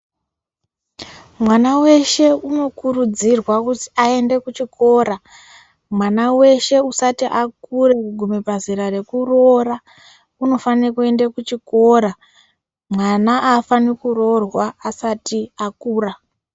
Mwana weshe unokurudzirwa kuzi aende kuchikora. Mwana weshe usati akura kugume pazera rekuroora unofanire kuenda kuchikora. Mwana haafani kuroorwa asati akura.